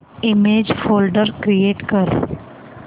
image folder create कर